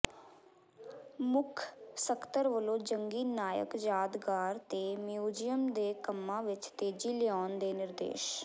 ਮੁੱਖ ਸਕੱਤਰ ਵੱਲੋਂ ਜੰਗੀ ਨਾਇਕ ਯਾਦਗਾਰ ਤੇ ਮਿਊਜ਼ੀਅਮ ਦੇ ਕੰਮਾਂ ਵਿਚ ਤੇਜ਼ੀ ਲਿਆਉਣ ਦੇ ਨਿਰਦੇਸ਼